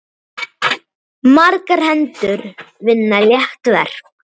Margar hendur vinna létt verk.